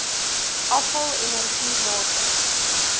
afval energie water